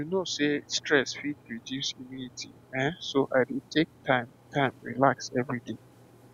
you know sey stress fit reduce immunity eh so i dey take time time relax every day